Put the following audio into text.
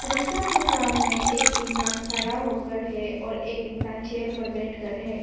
Rickshaw के सामने एक इंसान खड़ा होकर है और एक इंसान चेयर पर बैठ कर है।